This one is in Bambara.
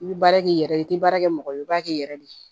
I bɛ baara k'i yɛrɛ ye i tɛ baara kɛ mɔgɔ ye i b'a kɛ i yɛrɛ de ye